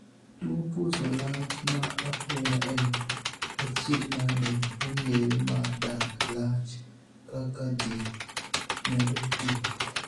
Tuo puso lach ma apoya en achiedhnade mong'ere mar dag lach kaka jii medo tii.